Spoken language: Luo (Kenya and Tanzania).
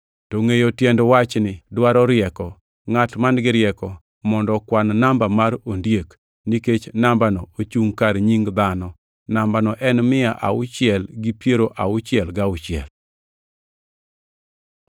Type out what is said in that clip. To ngʼeyo tiend wachni dwaro rieko, Ngʼat man-gi rieko, mondo okwan namba mar ondiek, nikech nambano ochungʼ kar nying dhano. Nambano en mia auchiel gi piero auchiel gauchiel.